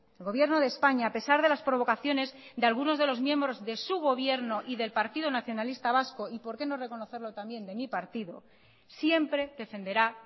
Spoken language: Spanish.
el gobierno de españa a pesar de las provocaciones de algunos de los miembros de su gobierno y del partido nacionalista vasco y porqué no reconocerlo también de mi partido siempre defenderá